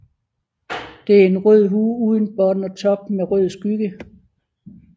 Det er en rød hue uden bånd og top med rød skygge